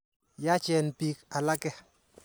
Yaachen piik alake.